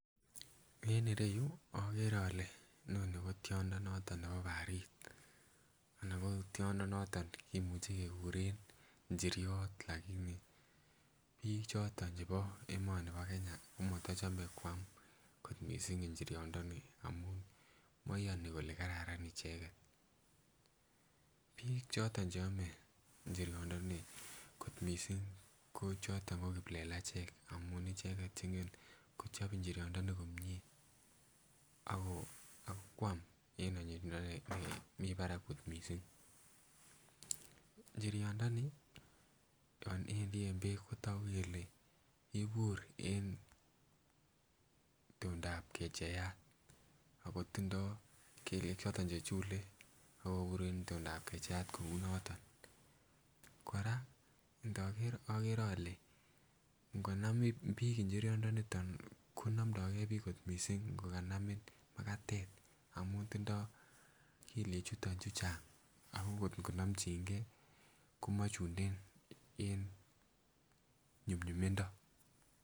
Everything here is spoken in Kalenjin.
En ireyu okere ole inoni kotiondo noton nebo barit anan ko tiondo noton kimuche kekuren njiryot lakini biik choton chebo emoni bo Kenya komotochome koam kot missing njiryot ndoni amun moyoni kole kararan icheket. Biik choton cheome njiryot ndoni kot missing ko choton ko kiplelachek amun icheket chengen kochop njiryot ndoni komie ako akoam en onyinyindo nemii barak kot missing. Njiryot ndoni yon wendii en beek kotogu kele kibur en itondap kecheiyat akotindoo kelyek choton chechule akobur en itondap kecheiyat kounoton. Kora ndoker okere ole ngonam biik njiryot ndoniton konomdogee biik kot missing ngokanamin makatet amun tindoo kelyek chuton chuchang ako ngot konomchingee komochunden en nyumnyumindo